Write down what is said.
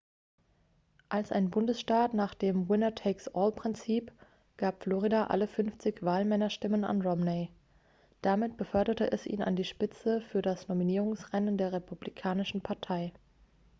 "als ein bundesstaat nach dem "winner takes all""-prinzip gab florida alle fünfzig wahlmännerstimmen an romney. damit beförderte es ihn an die spitze für das nominierungsrennen der republikanischen partei.